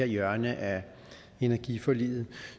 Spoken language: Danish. hjørne af energiforliget